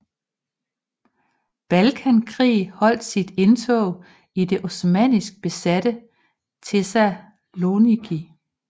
Balkankrig holdt sit indtog i det osmannisk besatte Thessaloniki